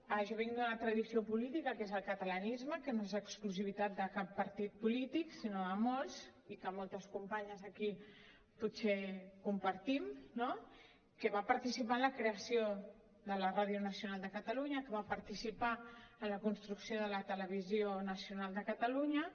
jo vinc d’una tradició política que és el catalanisme que no és exclusivitat de cap partit polític sinó de molts i que moltes companyes aquí potser compartim no que va participar en la creació de la ràdio nacional de catalunya que va participar en la construcció de la televisió nacional de catalunya